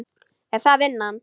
Er það vinnan?